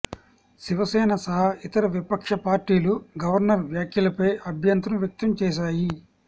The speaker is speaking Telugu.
శివసేన సహా ఇతర విపక్ష పార్టీలు గవర్నర్ వ్యాఖ్యలపై అభ్యంతరం వ్యక్తం చేశాయి